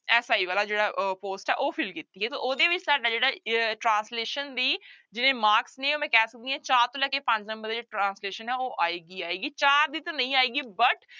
SI ਵਾਲਾ ਜਿਹੜਾ ਅਹ post ਹੈ ਉਹ fill ਕੀਤੀ ਹੈ ਤਾਂ ਉਹਦੇ ਵਿੱਚ ਤੁਹਾਡਾ ਜਿਹੜਾ ਅਹ translation ਦੀ ਜਿਹੜੇ marks ਨੇ ਉਹ ਮੈਂ ਕਹਿ ਸਕਦੀ ਹਾਂ ਚਾਰ ਤੋਂ ਲੈ ਕੇ ਪੰਜ number ਦੇ ਜਿਹੜੇ translation ਹੈ ਉਹ ਆਏਗੀ ਆਏਗੀ ਚਾਰ ਦੀ ਤਾਂ ਨਹੀਂ ਆਏਗੀ but